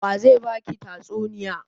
Wa ze ba ki tatsuniya?